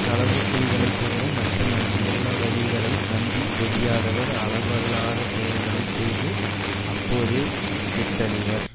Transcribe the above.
களவு செய்தலை தவிர மற்ற நல்லவழிகளைத் நம்பி தெளியாதவர் அளவு அல்லாத செயல்களை செய்து அப்போதே கெட்டழிவர்